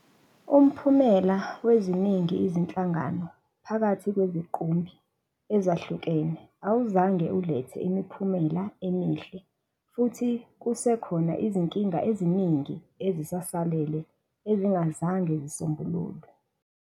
Umphumelo weziningi izinhlangano phakathi kweziqumbi ezahlukene awuzange ulethe imiphumelo emihle futhi kusekhona izinkinga eziningi ezisasele ezingazange zisombulukwe.